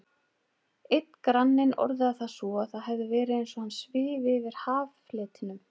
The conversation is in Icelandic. Einn granninn orðaði það svo að það hefði verið eins og hann svifi yfir haffletinum.